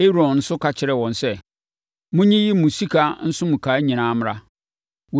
Aaron nso ka kyerɛɛ wɔn sɛ, “Monyiyi mo sika nsonkawa nyinaa mmra.”